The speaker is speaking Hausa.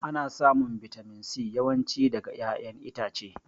Ana samun bitamin C yawan ci daga ƴaƴan itace